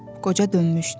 Qoca dönmüşdü.